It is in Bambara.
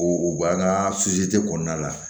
O b'an ka kɔnɔna la